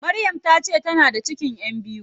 Maryam tace tana da cikin ƴan biyu.